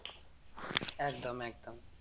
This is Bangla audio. একদম একদম